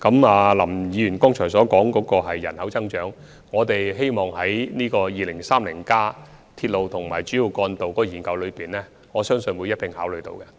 就林議員剛才提及的人口增長問題，我相信在《香港 2030+》有關鐵路及主要幹道的研究中定會加以考慮。